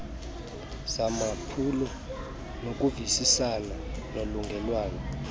zamaphulo nokuvisisana nolungelelwano